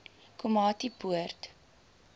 komatipoort